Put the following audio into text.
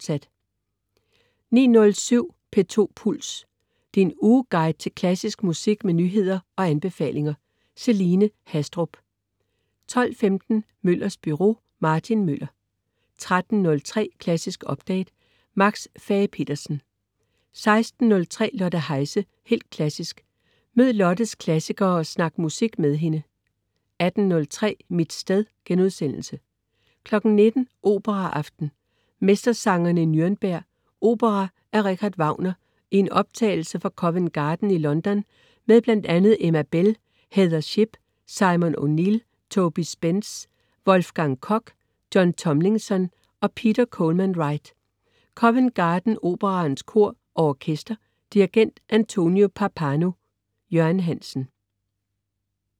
09.07 P2 Puls. Din ugeguide til klassisk musik med nyheder og anbefalinger. Celine Haastrup 12.15 Møllers Byro. Martin Møller 13.03 Klassisk Update. Max Fage-Petersen 16.03 Lotte Heise. Helt klassisk. Mød Lottes klassikere og snak musik med hende 18.03 Mit sted* 19.00 Operaaften. Mestersangerne i Nürnberg. Opera af Richard Wagner i en optagelse fra Covent Garden i London med bl.a. Emma Bell, Heather Shipp, Simon O'Neill, Toby Spsence, Wolfgang Koch, John Tomlinson og Peter Coleman-Wright. Covent Garden Operaens Kor og Orkester. Dirigent: Antonio Pappano. Jørgen Hansen